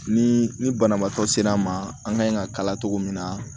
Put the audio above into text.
Ni ni banabaatɔ sera an ma an ka kan in ka kala togo min na